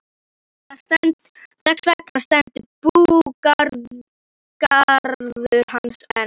Þess vegna stendur búgarður hans enn.